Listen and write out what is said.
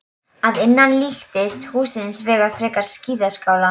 Að innan líkist húsið hins vegar frekar skíðaskála.